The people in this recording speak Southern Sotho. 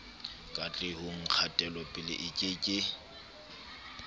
katlehong kgatelopele e ke ke